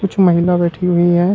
कुछ महिला बैठी हुई हैं।